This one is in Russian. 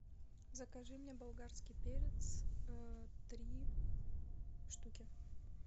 закажи мне болгарский перец три штуки